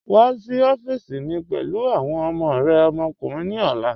Wa sí ọ̀fíìsí mi pẹ̀lú awọn ọmọ rẹ ọmọkùnrin ni ọlá